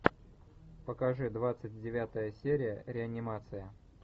покажи двадцать девятая серия реанимация